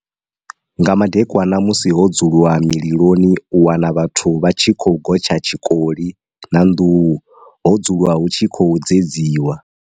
Nga madekwana musi ho dzulwa mililoni u wana vhathu vha tshi khou gotsha tshikoli na nduhu ho dzulwa hu tshi khou dzedziwa.